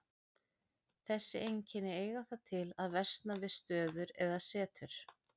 Þessi einkenni eiga það til að versna við stöður eða setur.